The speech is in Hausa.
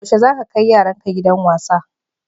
Yaushe za ka kai yaranka gidan wasa?